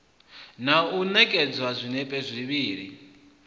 na u ṋekedza zwinepe zwivhili